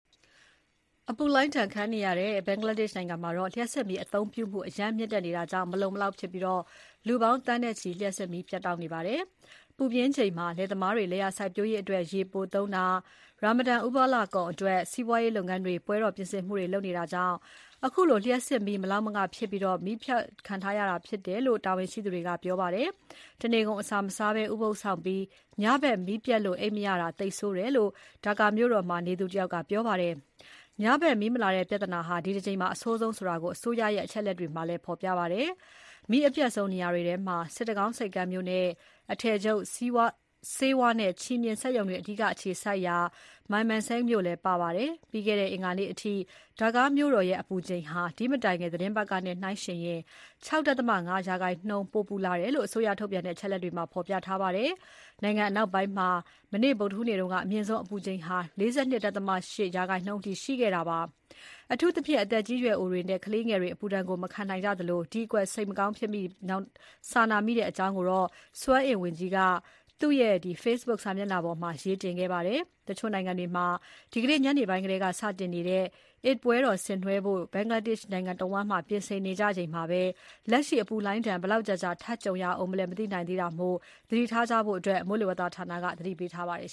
အပူလှိုင်းဒဏ်ခံနေရတဲ့ ဘင်္ဂလားဒေ့ရှ်နိုင်ငံမှာ လျှပ်စစ်မီးအသုံးပြုမှု အရမ်းမြင့်တက်နေတာကြောင့် မလုံမလောက်ဖြစ်ပြီး လူပေါင်း သန်းနဲ့ချီ လျှပ်စစ်မီးပြတ်တောက်နေပါတယ်။ ပူပြင်းချိန်မှာ လယ်သမားတွေ လယ်ယာစိုက်ပျိုးရေးအတွက် ရေပိုသုံးတာ၊ ရာမဒန်ဥပုသ်လအကုန်အတွက် စီးပွားရေးလုပ်ငန်းတွေက ပွဲတော်ပြင်ဆင်မှုတွေလုပ်နေတာကြောင့် အခုအလို လျှပ်စစ်မီး မလောက်မငဖြစ်ပြီး မီးဖြတ်တောက်ထားရတာဖြစ်တယ်လို့ တာဝန်ရှိသူတွေက ပြောပါတယ်။ တနေကုန်အစာမစားဘဲ ဥပုသ်စောင့်ပြီး ညဖက် မီးပျက်လို့ အိပ်မရတာ သိပ်ဆိုးတယ်လို့ ဒါကာ (Dhaka) မြို့တော်မှာ နေသူတယောက်က ပြောပါတယ်။ ညဘက် မီးမလာတဲ့ ပြဿနာဟာ ဒီတကြိမ် အဆိုးဆုံးဆိုတာကို အစိုးရရဲ့ အချက်အလက်တွေက ဖော်ပြပါတယ်။ မီးအပြတ်ဆုံး နေရာတွေထဲမှာ စစ်တကောင်း ဆိပ်ကမ်းမြို့နဲ့ အထည်ချုပ်၊ ဆေးဝါးနဲ့ ချည်မျှင် စက်ရုံတွေ အဓိက အခြေစိုက်ရာ Mymensingh မြို့တွေ ပါ ပါတယ်။ ပြီးခဲ့တဲ့ အင်္ဂါနေ့အထိ ဒါကာမြို့တော်ရဲ့ အပူချိန်ဟာ ဒီ့မတိုင်ခင် သီတင်းပတ်ကနဲ့ နှိုင်းယှဉ်ရင် ၆.၅ % ပို ပူလာတယ်လို့ အစိုးရထုတ်ပြန်တဲ့ အချက်အလက်တွေမှာ ဖော်ပြထားပါတယ်။ နိုင်ငံအနောက်ပိုင်းမှာ မနေ့ဗုဒ္ဓဟူးနေ့က အမြင့်ဆုံးအပူချိန် ၄၂.၈ % အထိ ရှိခဲ့တာပါ။ အထူးသဖြင့် အသက်အရွယ်ကြီးသူတွေနဲ့ ကလေးငယ်တွေ အပူဒဏ်ကို မခံနိုင်ကြသလို၊ ဒီအတွက် စိတ်မကောင်းဖြစ်မိ၊ စာနာမိတဲ့ အကြောင်း စွမ်းအင်ဝန်ကြီး Nasrul Hamid က သူ့ရဲ့ Facebook စာမျက်နှာက တဆင့် အင်္ဂါနေ့ နှောင်းပိုင်းက ပြောဆိုခဲ့ပါတယ်။ တချို့နိုင်ငံတွေမှာ ဒီနေ့ညနေပိုင်းထဲက စတင်နေတဲ့ Eid al-Fitr ပွဲတော် ဆင်နွှဲဖို့ နိုင်ငံတဝန်း ပြင်ဆင်နေကြချိန်မှာပဲ လက်ရှိ အပူလှိုင်းဒဏ် ဘယ်လောက်ကြာကြာ ထပ်ကြုံရဦးမလဲ မသိနိုင်သေးတာမို့ သတိထားကြဖို့ မိုးလေဝသဌာနက သတိပေးထားပါတယ်